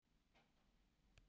Talið við þá.